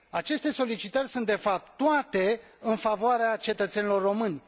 Aceste solicitări sunt, de fapt, toate în favoarea cetățenilor români.